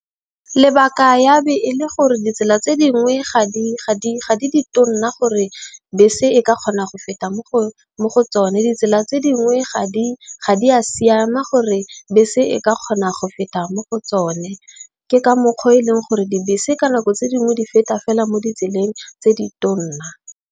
Lebaka ya be e le gore ditsela tse dingwe ga di ditona gore bese e ka kgona go feta mo go tsone. Ditsela tse dingwe ga di a siama gore, bese e ka kgonang go feta mo go tsone. Ke ka mokgwa o e leng gore dibese ka nako tse dingwe di feta fela mo ditseleng tse di tona.